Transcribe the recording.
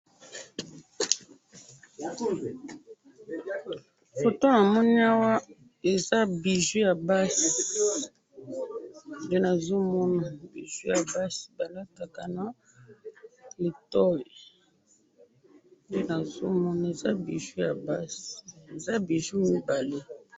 photo namoni awa eza bijoux ya basi nde nazomona bijoux ya basi balataka na litoyi nde nazomona eza bijoux ya basi eza bijoux mibale